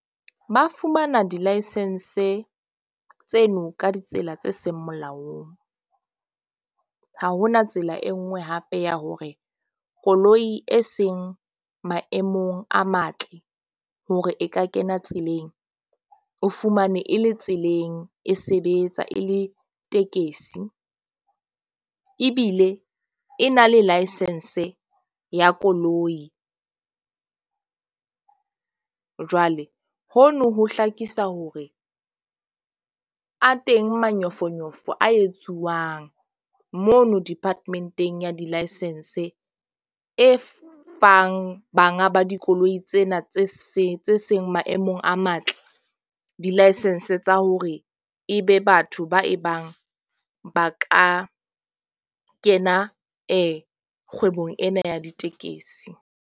Ba fumana di-licence tseno ka ditsela tse seng molaong. Ha hona tsela e nngwe hape ya hore koloi e seng maemong a matle hore e ka kena tseleng. O fumane e le tseleng. E sebetsa e le tekesi ebile e na le license ya koloi. Jwale hono ho hlakisa hore a teng manyofonyofo a etsuwang mono department-eng ya di-licence. E fang banga ba dikoloi tsena tse seng maemong a matle di-licence tsa hore e be batho ba e bang ba ka kena kgwebong ena ya ditekesi.